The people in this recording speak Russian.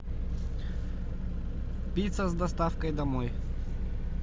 пицца с доставкой домой